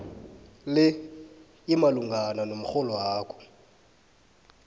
le imalungana nomrholwakho